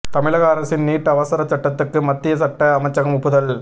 தமிழக அரசின் நீட் அவசரச் சட்டத்துக்கு மத்திய சட்ட அமைச்சகம் ஒப்புதல்